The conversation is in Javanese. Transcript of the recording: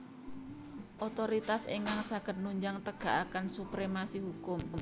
Otoritas ingkang saged nunjang tegakaken supremasi hukum